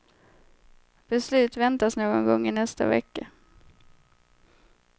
Beslut väntas någon gång i nästa vecka.